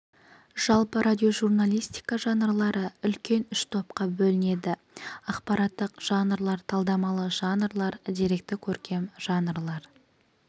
жалпы радиожурналистика жанрлары үлкен үш топқа бөлінеді ақпараттық жанрлар талдамалы жанрлар деректі-көркем жанрлар